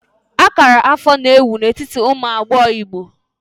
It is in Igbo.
Akara afọ na ewubu ewu n'etiti ụmụ agbọghọ Igbo.